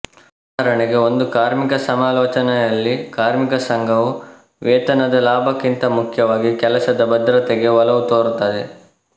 ಉದಾಹರಣೆಗೆ ಒಂದು ಕಾರ್ಮಿಕ ಸಮಾಲೋಚನೆಯಲ್ಲಿ ಕಾರ್ಮಿಕ ಸಂಘವು ವೇತನದ ಲಾಭಕ್ಕಿಂತ ಮುಖ್ಯವಾಗಿ ಕೆಲಸದ ಭದ್ರತೆಗೆ ಒಲವು ತೋರುತ್ತದೆ